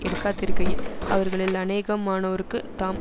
எடுக்காதிருக்கையி அவர்களில் அநேகமானோருக்கு தாம்